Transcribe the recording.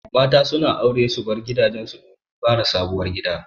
Mata su na aure su bar gidajen su domin fara sabuwar gida.